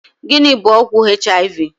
Gịnị bụ ọgwụ HIV?